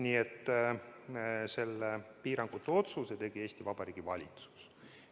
Nii et selle piirangute otsuse tegi Eesti Vabariigi valitsus.